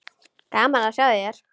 Gaman að sjá þig hér!